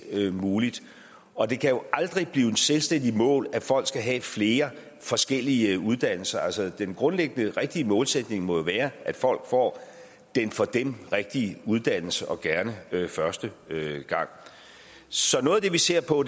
muligt og det kan jo aldrig blive et selvstændigt mål at folk skal have flere forskellige uddannelser altså den grundlæggende rigtige målsætning må være at folk får den for dem rigtige uddannelse og gerne første gang så noget af det vi ser på